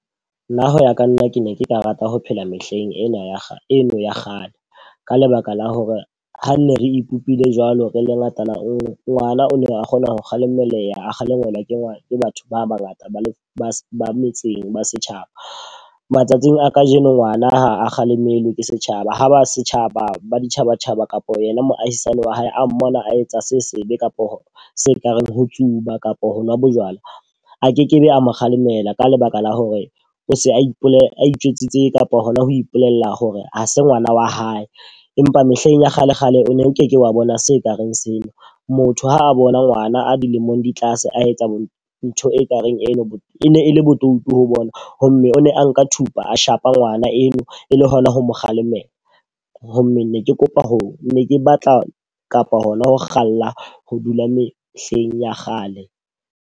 Nna hoya ka nna ke ne ke ka rata ho phela mehleng ena ya eno ya kgale. Ka lebaka la hore ha nne re ipopile jwalo re le ngatana e le nngwe. Ngwana o ne a kgona ho kgalemela, a kgalemelwa ke batho ba ba ngata ba le ba ba metseng ba setjhaba. Matsatsing a ka jeno ngwana ha a kgalemelwa ke setjhaba, ha ba setjhaba ba ditjhabatjhaba kapa yena moahisane wa hae a mmona a etsa se sebe kapo se ka reng ho tsuba kapa ho nwa bojwala. A kekebe a mo kgalemela ka lebaka la hore o se a ipolela a itjwetsitse kapa hona ho ipolella hore ha se ngwana wa hae. Empa mehleng ya kgale kgale o ne o ke ke wa bona se kareng seo. Motho ha a bona ngwana a dilemong di tlase oe etsa ntho ekareng eno. E ne e le bodutu ha bona ho mme. O ne a nka thupa a shapa ngwana eo e le hona ho mo kgalemela ho mme ne ke kopa ho ne ke batla kapa hona ho kgalla ho dula mehleng ya kgale.